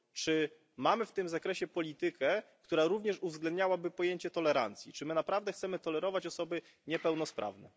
Czy mamy w tym zakresie politykę, która również uwzględniałaby pojęcie tolerancji? Czy my naprawdę chcemy tolerować osoby niepełnosprawne?